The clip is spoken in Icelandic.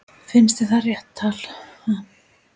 Finnst þér það rétt tala?